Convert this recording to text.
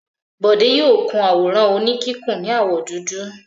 Bọ̀dé yóò kun àwòrán oníkíkùn ní àwọ̀ dúdú.